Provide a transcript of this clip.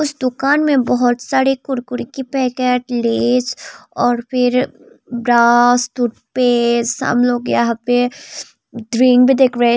दुकान में बहोत सारे कुरकुरे की पैकेट लेज और फिर ब्रश टूथपेस्ट सब लोग यहां पे